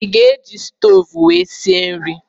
I ga-eji stoovú wee sie nri?